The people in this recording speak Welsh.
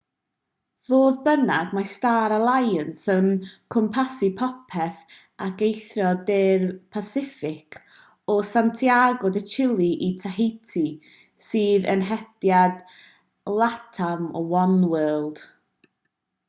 fodd bynnag mae star alliance yn cwmpasu popeth ac eithrio de'r pasiffic o santiago de chile i tahiti sydd yn hediad latam oneworld